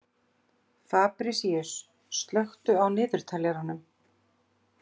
Fabrisíus, slökktu á niðurteljaranum.